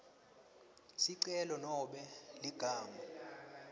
sicelo nobe ligama